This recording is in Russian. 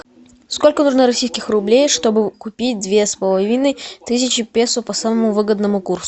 сколько нужно российских рублей чтобы купить две с половиной тысячи песо по самому выгодному курсу